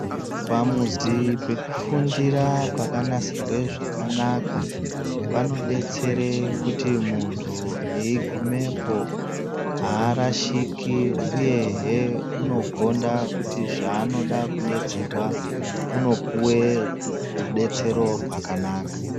Pamuzi pekufundira pakanasirwe zvakanaka panobetsere kuti muntu eigumepo haarashiki, uyehe unogonda kuti zvaanoda kubetserwa unopuve rubetsero rwakanaka.